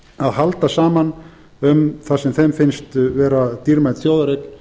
að halda saman um það sem þeim finnst vera dýrmæt þjóðareign